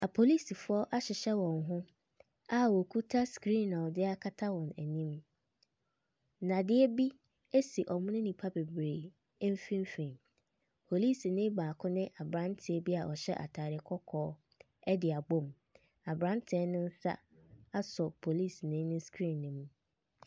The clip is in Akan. Apolisifoɔ ahyehyɛ wɔn ho a ɔkita skriin a ɔde akata wɔn anim. Nnadeɛ bi ɛsi ɔmo ne nnipa bebree mfimfin. Polisinii baako ne abranteɛ bi a ɔhyɛ ataade kɔkɔɔ ɛde abom. Abranteɛ no nsa asɔ polisinii no skriin no mu.